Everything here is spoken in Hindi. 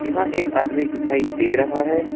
यहां एक आदमी दिखाई दे रहा है।